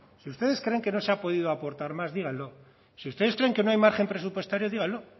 si ustedes creen que no se ha podido aportar más díganlo si ustedes creen que no hay margen presupuestario díganlo